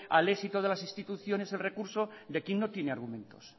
al éxito de las instituciones el recurso de quien no tiene argumentos